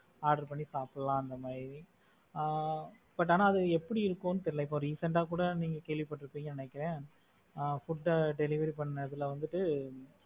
order பண்ணி சாப்பிடலாம் அந்த மாதிரி ஆஹ் but ஆனா அது எப்படி இருக்கும்னு தெரியல இப்ப recent ஆ கூட நீங்க கேள்விப்பட்டிரூபிங்க ன்னு நினைக்குறேன் ஆஹ் food delivery பண்ண இதுல வந்து